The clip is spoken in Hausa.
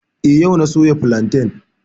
Eh, yau na soya filantan